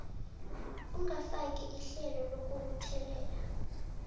ongafaki ihlelo lokubuthelela